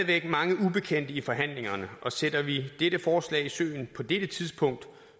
væk mange ubekendte i forhandlingerne og sætter vi dette forslag i søen på dette tidspunkt